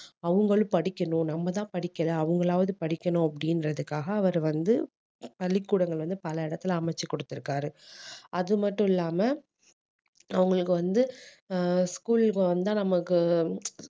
அவங்களும் படிக்கணும் நம்மதான் படிக்கலை அவங்களாவது படிக்கணும் அப்படின்றதுக்காக அவர் வந்து பள்ளிக்கூடங்கள் வந்து பல இடத்துல அமைத்து கொடுத்திருக்காரு அது மட்டும் இல்லாம அவங்களுக்கு வந்து ஆஹ் school க்கு வந்தா நமக்கு